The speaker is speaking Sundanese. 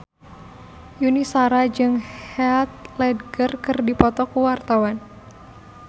Yuni Shara jeung Heath Ledger keur dipoto ku wartawan